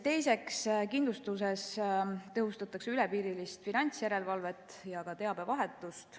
Teiseks, kindlustuses tõhustatakse ülepiirilist finantsjärelevalvet ja ka teabevahetust.